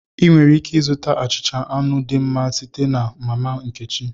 Ị nwere ike ịzụta achịcha anụ dị mma site na mama nkechi